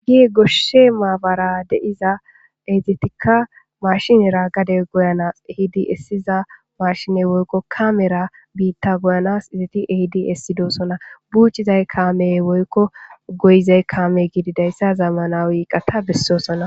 Ye goshshee maabaraa de7iza heegethikka maashinera gade goyanas ehidi essiza maashine woykko kaamera biththaa goyanas ethi ehidi essidosona; buucciday kaamee woykko goyizey kaamee gididayssa zamanawi iqatha bessoosona.